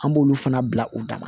An b'olu fana bila u dama